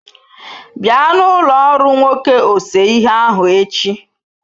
Bịa na ụlọ ọrụ nwoke ose ihe ahụ echi.